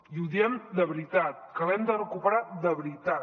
i ho diem de veritat que l’hem de recuperar de veritat